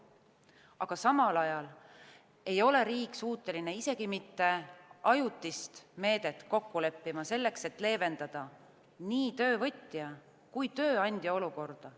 Aga samal ajal ei ole riik suuteline isegi mitte ajutist meedet kokku leppima, selleks et leevendada nii töövõtja kui tööandja olukorda.